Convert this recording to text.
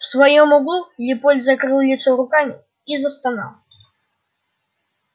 в своём углу лепольд закрыл лицо руками и застонал